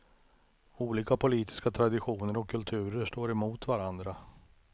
Olika politiska traditioner och kulturer står mot varandra.